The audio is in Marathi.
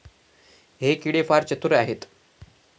हे किडे फार चतुर आहेत.